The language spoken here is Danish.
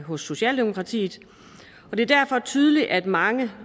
hos socialdemokratiet og det er derfor tydeligt at mange